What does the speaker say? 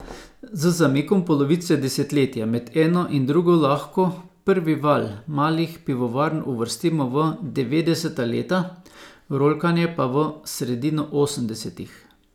Z zamikom polovice desetletja med eno in drugo lahko prvi val malih pivovarn uvrstimo v devetdeseta leta, rolkanje pa v sredino osemdesetih.